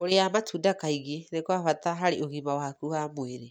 Kũrĩa matunda kaingĩ nĩ kwa bata harĩ ũgima waku wa mwĩrĩ.